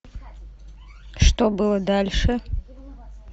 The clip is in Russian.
что было дальше